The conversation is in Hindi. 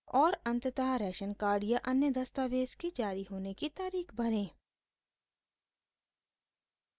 और अंततः राशन कार्ड या अन्य दस्तावेज़ के जारी होने की तारीख़ भरें